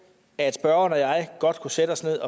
at spørgeren og jeg godt kunne sætte os ned